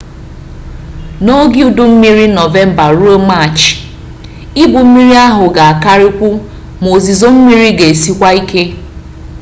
n’oge udu mmiri nọvemba ruo maachị ibu mmiri ahụ ga-akarịkwu ma ozizo mmiri ga-esikwa ike